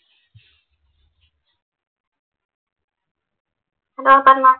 hello പറഞ്ഞോ